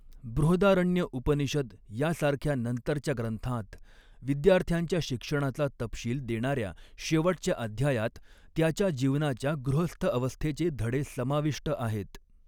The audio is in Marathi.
बृहदारण्यक उपनिषद सारख्या नंतरच्या ग्रंथांत, विद्यार्थ्याच्या शिक्षणाचा तपशील देणाऱ्या शेवटच्या अध्यायात, त्याच्या जीवनाच्या गृहस्थ अवस्थेचे धडे समाविष्ट आहेत.